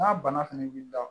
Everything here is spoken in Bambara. N'a bana fɛnɛ b'i da